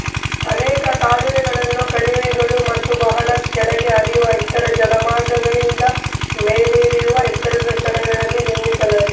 ಅನೇಕ ಕಾಲುವೆಗಳನ್ನು ಕಣಿವೆಗಳು ಮತ್ತು ಬಹಳ ಕೆಳಗೆ ಹರಿಯುವ ಇತರ ಜಲಮಾರ್ಗಗಳಿಗಿಂತ ಮೇಲಿರುವ ಎತ್ತರದ ಸ್ಥಳಗಳಲ್ಲಿ ನಿರ್ಮಿಸಲಾಗಿದೆ